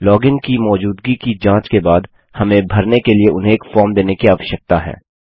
login की मौजूदगी की जाँच के बाद हमें भरने के लिए उन्हें एक फॉर्म देने की आवश्यकता है